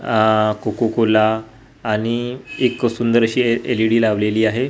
आह कोकोकोला आणि एक सुंदरशी एल_ई_डी लावलेली आहे.